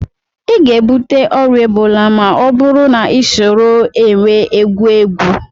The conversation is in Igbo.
Ị ga-ebute ọrịa ebola ma ọ bụrụ na ị soro énwè egwu egwu